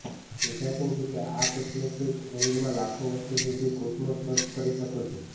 સૈદ્ધાંતિક રીતે આ કોસ્મિક શરીરમાં લાખો વર્ષો સુધી કોસમોસ સર્ફ કરી શકો છો